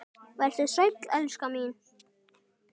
Vertu sæl, elskan mín.